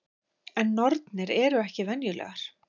En nornir eru ekki venjulegar.